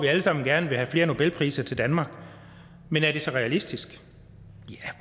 alle sammen gerne vil have flere nobelpriser til danmark men er det så realistisk ja